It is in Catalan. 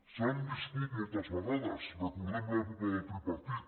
s’han viscut moltes vegades recordem l’època del tripartit